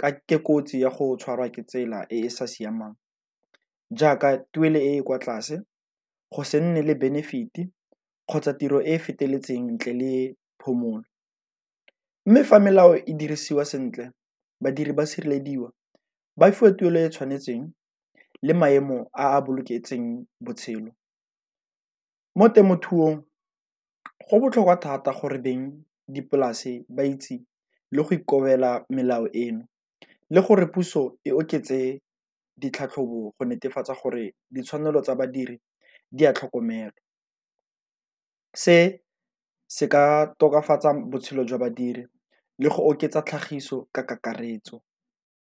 ka ke kotsi ya go tshwarwa ke tsela e e sa siamang jaaka tuelo e e kwa tlase, go se nne le benefit-e, kgotsa tiro e e feteletseng ntle le phomolo. Mme fa melao e dirisiwa sentle badiri ba sirelediwa ba fa tuelo e e tshwanetseng le maemo a boloketseng botshelo mo temothuong go botlhokwa thata gore beng dipolase ba itse le go ikobela melao eno, le gore puso e oketse ditlhatlhobo go netefatsa gore ditshwanelo tsa badiri di a tlhokomelwa. Se se ka tokafatsa botshelo jwa badiri le go oketsa tlhagiso ka kakaretso.